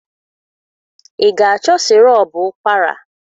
Ị ga-achọ sịrọp ụkwara?